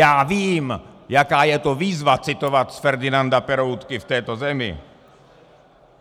Já vím, jaká je to výzva citovat z Ferdinanda Peroutky v této zemi.